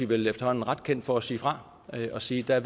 vel efterhånden ret kendt for at sige fra og sige at